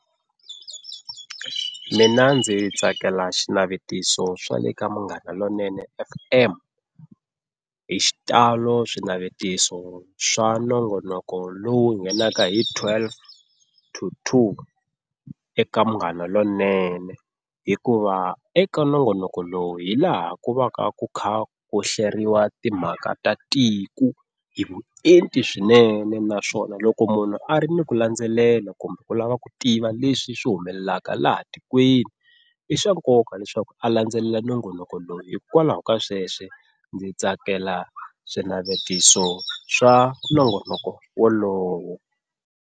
Mina ndzi tsakela xinavetiso swa le ka Munghana Lonene F_M. Hi xitalo swinavetiso swa nongonoko lowu nghenaka hi twelve to two eka Munghana Lonene hikuva eka nongonoko lowu hilaha ku va ka ku kha ku hleriwa timhaka ta tiko hi vuenti swinene. Naswona loko munhu a ri ni ku landzelela kumbe ku lava ku tiva leswi swi humelelaka laha tikweni i swa nkoka leswaku a landzelela nongonoko lowu hikwalaho ka sweswo ndzi tsakela swinavetiso swa nongonoko wolowo.